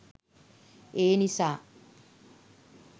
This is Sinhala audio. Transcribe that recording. ඒනිසා